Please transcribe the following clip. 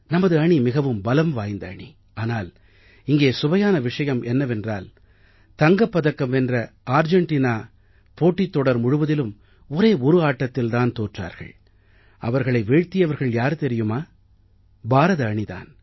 நமது அணி மிகவும் பலம் வாய்ந்த அணி ஆனால் இங்கே சுவையான விஷயம் என்னவென்றால் தங்கப் பதக்கம் வென்ற ஆர்ஜெண்டீனா போட்டித் தொடர் முழுவதிலும் ஒரே ஒரு ஆட்டத்தில் தான் தோற்றார்கள் அவர்களை வீழ்த்தியவர்கள் யார் தெரியுமா பாரத அணி தான்